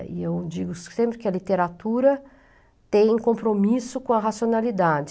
E eu digo sempre que a literatura tem compromisso com a racionalidade.